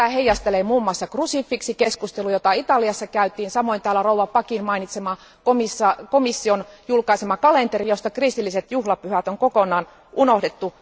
Tätä asiaa heijastelee muun muassa krusifiksikeskustelu, jota Italiassa käytiin, samoin täällä rouva Packin mainitsema komission julkaisema kalenteri, josta kristilliset juhlapyhät on kokonaan unohdettu.